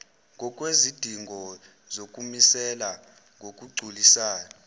ngokwezidingo zokumisela ngokugculisayo